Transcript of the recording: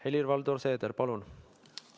Helir-Valdor Seeder, palun!